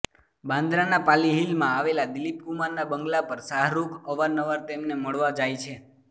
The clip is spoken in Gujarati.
બાંદ્રાના પાલી હિલમાં આવેલા દિલીપ કુમારના બંગલા પર શાહરૂખ અવારનવાર તેમને મળવા જાય છે